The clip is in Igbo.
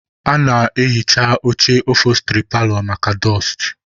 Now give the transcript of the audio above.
A na-ehicha oche ofosturị paalọ maka dụstụ